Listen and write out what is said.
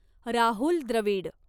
Rahul Dravid